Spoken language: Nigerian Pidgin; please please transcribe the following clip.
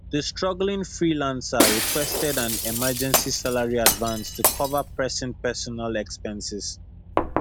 di struggling freelancer requested an emergency salary advance to cover pressing personal expenses